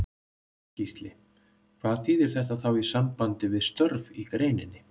Gísli: Hvað þýðir þetta þá í sambandi við störf í greininni?